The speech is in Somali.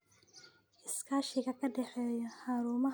Iskaashiga ka dhexeeya xarumaha waxbarashada iyo beeralayda waa muhiim.